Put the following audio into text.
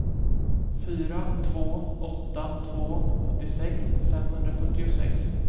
fyra två åtta två sjuttiosex femhundrafyrtiosex